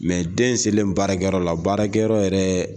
Mɛ den selen baarakɛyɔrɔ la, baarakɛyɔrɔ yɛrɛ